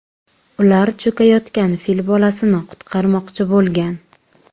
Ular cho‘kayotgan fil bolasini qutqarmoqchi bo‘lgan.